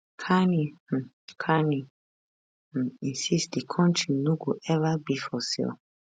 carney um carney um insist di country no go ever be for sale